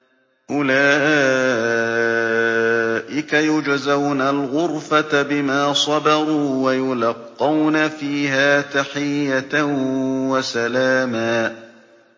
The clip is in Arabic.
أُولَٰئِكَ يُجْزَوْنَ الْغُرْفَةَ بِمَا صَبَرُوا وَيُلَقَّوْنَ فِيهَا تَحِيَّةً وَسَلَامًا